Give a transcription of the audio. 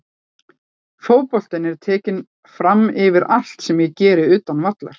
Fótboltinn er tekinn framyfir allt sem ég geri utan vallar.